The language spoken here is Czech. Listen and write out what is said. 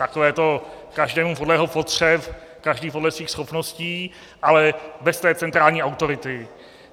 Takové to každému podle jeho potřeb, každý podle svých schopností, ale bez té centrální autority.